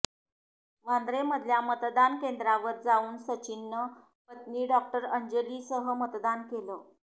वांद्रेमधल्या मतदान केंद्रावर जाऊन सचिननं पत्नी डॉक्टर अंजलीसह मतदान केलं